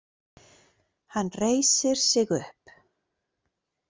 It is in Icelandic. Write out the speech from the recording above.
Hann reisir sig upp.